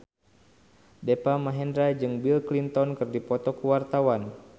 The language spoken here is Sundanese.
Deva Mahendra jeung Bill Clinton keur dipoto ku wartawan